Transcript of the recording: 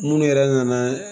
Munnu yɛrɛ nana